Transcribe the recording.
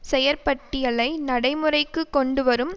செயற்பட்டியலை நடைமுறைக்கு கொண்டுவரும்